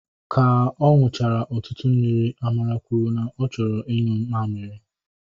Ka ọ nụchara ọtụtụ mmiri, Amara kwuru na ọ chọrọ inyu mamịrị